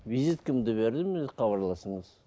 визиткамды бердім енді хабарласыңыз